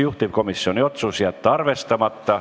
Juhtivkomisjoni otsus: jätta arvestamata.